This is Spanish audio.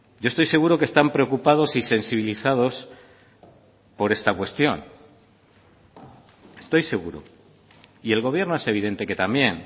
yo estoy seguro que están preocupados y sensibilizados por esta cuestión estoy seguro y el gobierno es evidente que también